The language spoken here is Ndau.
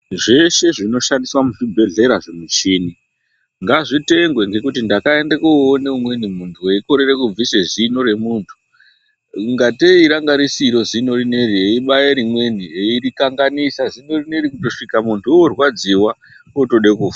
Zveshe zvinoshandiswa muzvibhedhlera zvimichini , ngazvitengwe ngekuti ndakaende koone umweni muntu, eikorere kubvise zino remuntu. Ingateyi ranga risiro zino rineri eibaye rimweni eirikanganisa, zino rineri kutosvika muntu orwadziwa ,ootode kufa.